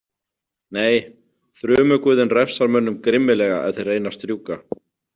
Nei, þrumuguðinn refsar mönnum grimmilega ef þeir reyna að strjúka.